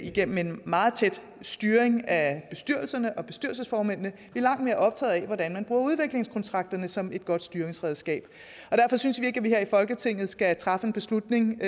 igennem en meget tæt styring af bestyrelserne og bestyrelsesformændene vi er langt mere optaget af hvordan man bruger udviklingskontrakterne som et godt styringsredskab og derfor synes vi ikke at man her i folketinget skal træffe en beslutning